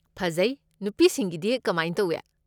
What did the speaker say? ꯐꯖꯩ꯫ ꯅꯨꯄꯤꯁꯤꯡꯒꯤꯗꯤ ꯀꯃꯥꯏ ꯇꯧꯏ?